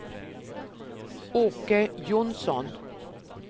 Åke Johnsson